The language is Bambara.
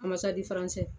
A ma sadi faransɛ